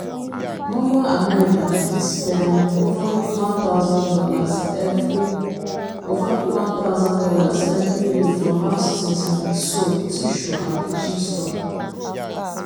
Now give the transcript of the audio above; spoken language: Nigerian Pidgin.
normal american fit spend over one thousand dollars every over one thousand dollars every year for house things like soap tissue and kitchen stuff.